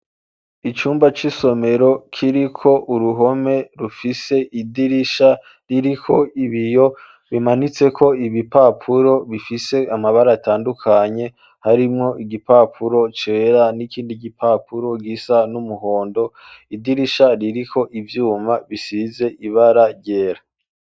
Icumba cy'isomero kiri ko uruhome rufise idirisha riri ko ibiyo bimanitse ko ibipapuro bifise amabara atandukanye harimwo igipapuro cera n'ikindi gipapuro gisa n'umuhondo idirisha riri ko ibyuma bisize ibara ryera.